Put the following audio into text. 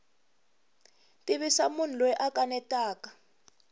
tivisa munhu loyi a kanetaka